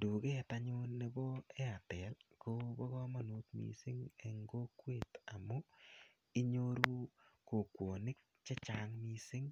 Duket anyun nebo airtel kobo kamanut mising amu inyoru kokwonik che chang mising